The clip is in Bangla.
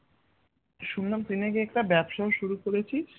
শুনলাম তুই নাকি একটা ব্যবসাও শুরু করেছিস